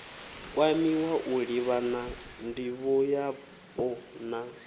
kwamiwa u livhana ndivhoyapo na